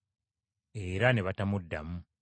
Era ne batamuddamu.